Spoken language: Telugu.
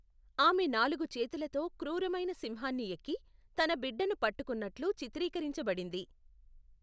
ఆమె నాలుగు చేతులతో క్రూరమైన సింహాన్ని ఎక్కి, తన బిడ్డను పట్టుకున్నట్లు చిత్రీకరించబడింది.